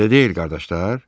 Elə deyil, qardaşlar?